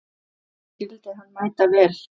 Ég skildi hann mæta vel.